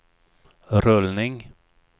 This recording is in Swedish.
rullning